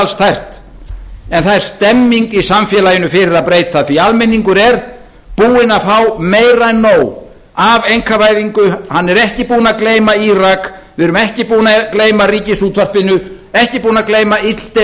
kristaltært en það er stemning í samfélaginu fyrir að breyta því almenningur er búinn að fá meira en nóg af einkavæðingu hann er ekki búinn að gleyma írak við erum ekki búin að gleyma ríkisútvarpinu ekki búin að gleyma illdeilunum